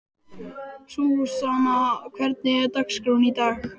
Súsanna, hvernig er dagskráin í dag?